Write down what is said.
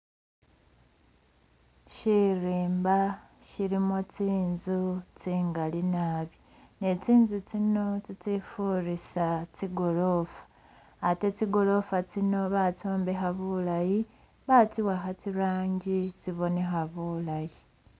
Shirimba shilimo tsinzu tsingali nabi ne tsinzu tsino tsi tsifurisa tsi gorofa ate tsigorofa tsino batsombekha bulayi, batsiwakha tsi rangi tsibonekha bulayi.